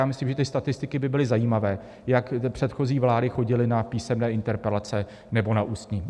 Já myslím, že ty statistiky by byly zajímavé, jak předchozí vlády chodily na písemné interpelace nebo na ústní.